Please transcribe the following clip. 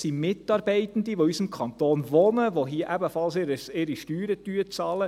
es gibt dann Mitarbeitende, welche in unserem Kanton wohnen und hier ihre Steuern bezahlen.